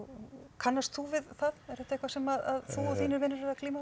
kannast þú við það er þetta eitthvað sem að þú og þínir vinir eruð að glíma